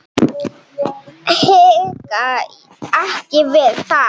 Hika ekki við það.